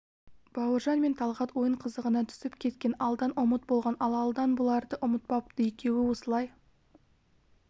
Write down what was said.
бауыржан мен талғат ойын қызығына түсіп кеткен алдан ұмыт болған ал алдан бұларды ұмытпапты екеуі осылай